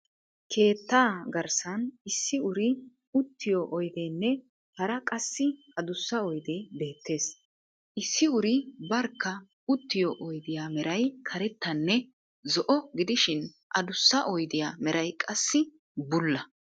Keetta garssan issi uri uttiyo oydeenne hara qassi adussa oydee beettees. issi uri barkka uttiyo odiyaa meray karettanne zo"o gidishshin adussa oydiyaa meray qassi bulla.